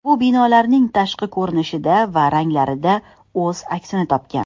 Bu binolarning tashqi ko‘rinishida va ranglarida o‘z aksini topgan.